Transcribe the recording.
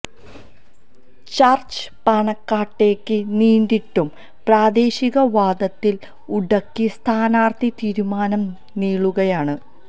ചര്ച്ച പാണക്കാട്ടേക്ക് നീണ്ടിട്ടും പ്രാദേശിക വാദത്തില് ഉടക്കി സ്ഥാനാര്ഥി തീരുമാനം നീളുകയാണ്